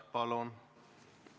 Palun!